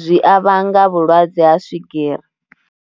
zwi a vhanga vhulwadze ha swigiri.